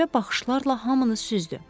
Qəribə baxışlarla hamını süzdü.